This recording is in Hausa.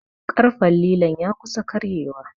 ƙarfen lilon ya kusa karyewa